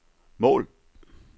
mål